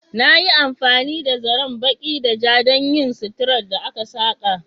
Na yi amfani da zaren baƙi da ja don yin suturar da aka saƙa.